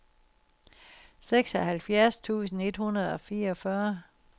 seksoghalvfjerds tusind et hundrede og fireogfyrre